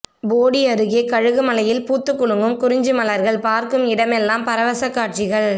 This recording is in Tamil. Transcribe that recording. போடி அருகே கொழுக்குமலையில் பூத்துக் குலுங்கும் குறிஞ்சி மலர்கள் பார்க்கும் இடமெல்லாம் பரவசக் காட்சிகள்